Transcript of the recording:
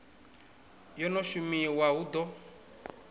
yo no shumiwa hu ḓo